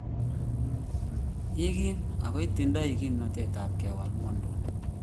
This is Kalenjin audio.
Igim ago itindoi kimnotetab kewal ng'wonduni.